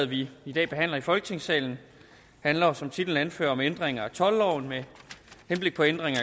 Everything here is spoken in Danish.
vi i dag behandler i folketingssalen handler jo som titlen anfører om ændringer i toldloven med henblik på ændring af